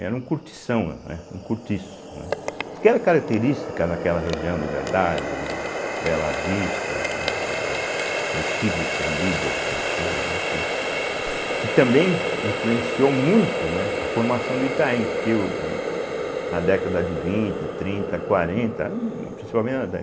Era um cortição, né, um cortiço, né, que era característica daquela região Liberdade, Bela Vista, né, é o Bexiga Estendida, a gente chama, né, que também influenciou muito né a formação do Itaim, porque o na década de vinte, trinta, quarenta, principalmente na dé